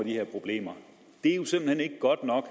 her problemer det er jo simpelt hen ikke godt nok